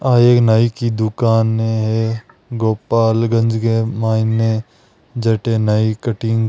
आ एक नई की दुकान है गोपालगंज नई जते नाइ कटिंग --